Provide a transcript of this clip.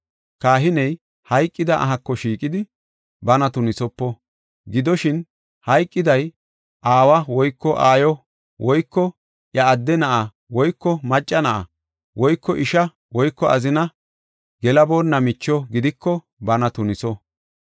“Kahiney hayqida ahako shiiqidi, bana tunisopo. Gidoshin, hayqiday aawa woyko aayo woyko iya adde na7a woyko macca na7a woyko isha woyko azina gelaboonna micho gidiko bana tuniso.